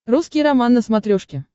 русский роман на смотрешке